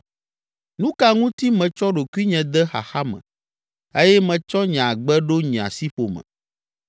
Nu ka ŋuti metsɔ ɖokuinye de xaxa me eye metsɔ nye agbe ɖo nye asiƒome?